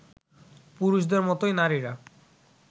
পুরুষদের মতোই নারীরা